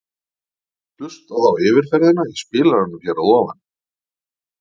Hlustaðu á yfirferðina í spilaranum hér að ofan.